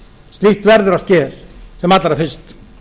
slíkt verður að ske sem allra fyrst